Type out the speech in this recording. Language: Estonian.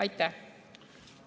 Aitäh!